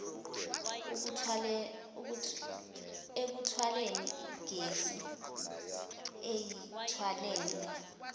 ekuthwaleni igesi eyithwalele